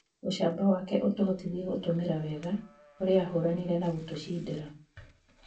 ũcamba wake ũtuhotithie gũtũmĩra wega urĩa ahuranĩre na gũtucindĩra